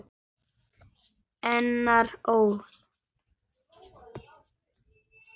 Einar Ól.